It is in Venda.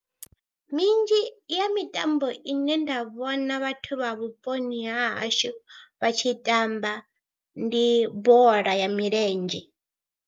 Minzhi ya mitambo ine nda vhona vhathu vha vhuponi ha hashu vha tshi tamba ndi bola ya milenzhe.